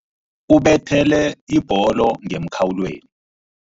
Ubethele ibholo ngemkhawulweni.